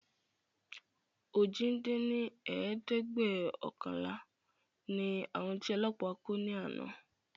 ojì dín ní ẹ̀ẹ́dẹ́gbẹ́ọ̀kànlá ni àwọn tí Ọlọ́pa kó ni àná